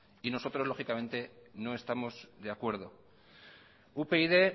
y nosotros lógicamente no estamos de acuerdo upyd